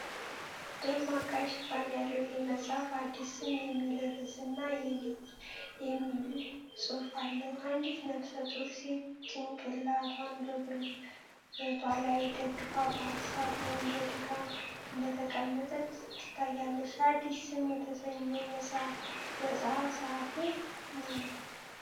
ደማቅ ቀይ ሽፋን ያለው ይህ መጽሐፍ "አዲስ ስም" የሚል ርዕስ እና "፻፺፯" የሚል ጽሑፍ አለው። አንዲት ነፍሰ ጡር ሴት ጭንቅላቷን በጉልበቷ ላይ ደግፋ በሀሳብ ወይም በድካም እንደተዋጠች ትታያለች። "አዲስ ስም" የተሰኘው መጽሐፍ ፀሐፊ ማን ነው?